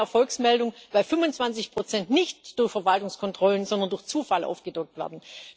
Das ist keine Erfolgsmeldung, da 25 nicht durch Verwaltungskontrollen, sondern durch Zufall aufgedeckt werden.